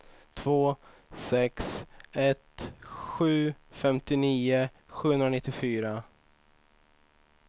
två sex ett sju femtionio sjuhundranittiofyra